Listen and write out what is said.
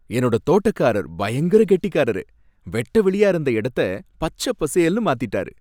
என்னோட தோட்டக்காரர் பயங்கர கெட்டிக்காரரு, வெட்ட வெளியா இருந்த இடத்த பச்ச பசேல்னு மாத்திட்டாரு.